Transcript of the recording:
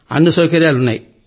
అన్ని సౌకర్యాలూ ఉన్నాయి